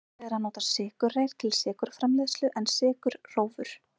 algengara er að nota sykurreyr til sykurframleiðslu en sykurrófur